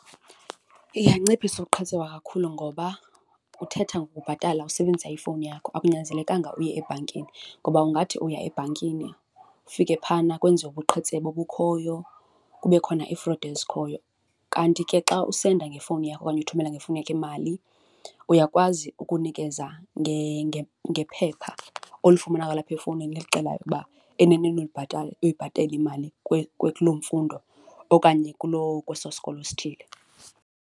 Iyanciphisa ubuqhetseba kakhulu ngoba uthetha ngokubhatala usebenzisa ifowuni yakho, akunyanzelekanga uye ebhankini ngoba ungathi uya ebhankini ufike phayana kwenziwe ubuqhetseba obukhoyo kube khona iifrodi ezikhoyo. Kanti ke xa usenda ngefowuni yakho okanye uthumela ngefowuni yakho imali, uyakwazi ukunikeza ngephepha olifumana kwalapha efowunini elixela ukuba eneneni ulibhatala, uyibhatele imali kulo mfundo okanye kulo, kweso sikolo sithile.